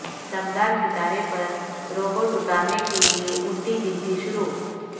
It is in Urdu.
دمدار ستارے پر روبوٹ اتارنے کے لیے الٹی گنتی شروع